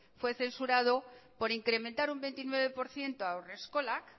fue censurado por incrementar un veintinueve por ciento haurreskolak